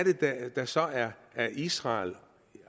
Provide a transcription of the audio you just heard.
der så er israel